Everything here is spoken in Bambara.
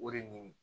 O de nin